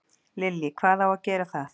Lillý: Hvað á að gera það?